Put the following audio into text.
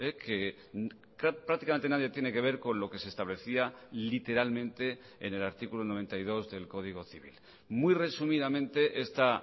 que prácticamente nadie tiene que ver con lo que se establecía literalmente en el artículo noventa y dos del código civil muy resumidamente esta